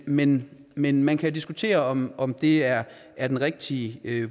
men men man kan diskutere om om det er er den rigtige